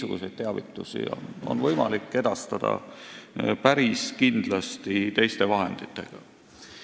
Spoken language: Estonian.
Niisuguseid teavitusi on päris kindlasti võimalik edastada teiste vahenditega.